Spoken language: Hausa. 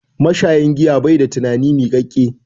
Mashayin giya bai da tunani miƙaƙƙe.